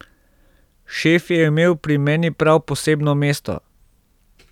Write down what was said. Šef je imel pri meni prav posebno mesto.